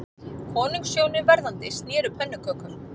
Konungshjónin verðandi sneru pönnukökum